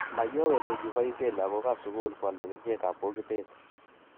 mayowe ko kibaishe lakok ab sugul kwalda kerchek ab bokitet